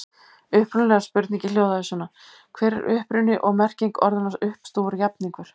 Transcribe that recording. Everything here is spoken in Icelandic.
Upprunalega spurningin hljóðaði svona: Hver er uppruni og merking orðanna uppstúfur og jafningur?